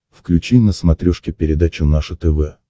включи на смотрешке передачу наше тв